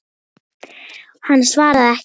Hann svaraði ekki.